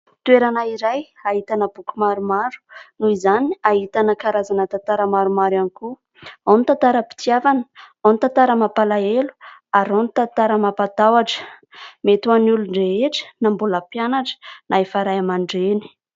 Toerana iray ahitana boky maromaro noho izany ahitana karazana tantara maromaro iany koa : ao ny tantaram-pitiavana, ao ny tantara mampalaelo ary ao ny tantara mampataotra. Mety ho any olon-drehetra na mbola mpianatra na efa Ray aman-dreny.